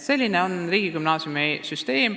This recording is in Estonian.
Selline on riigigümnaasiumi loomise süsteem.